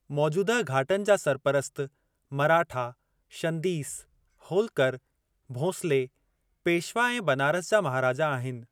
मौजूदह घाटनि जा सरपरस्त मराठा, शंदीस, होलकर, भोंसले, पेशवा ऐं बनारस जा महाराजा आहिनि।